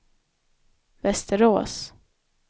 Västerås